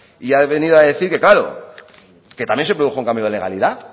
y ha venido a decir que claro que también se produjo un cambio de legalidad